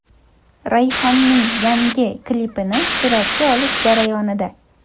Rayhonning yangi klipini suratga olish jarayonida.